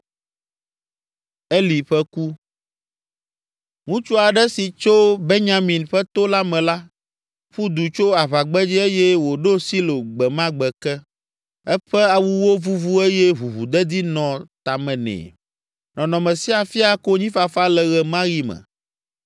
Ŋutsu aɖe si tso Benyamin ƒe to la me la, ƒu du tso aʋagbedzi eye wòɖo Silo gbe ma gbe ke. Eƒe awuwo vuvu eye ʋuʋudedi nɔ tame nɛ. Nɔnɔme sia fia konyifafa le ɣe ma ɣi me.